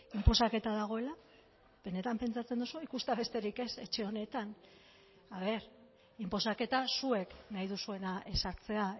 inposaketa dagoela benetan pentsatzen duzue ikustea besterik ez etxe honetan a ver inposaketa zuek nahi duzuena ezartzea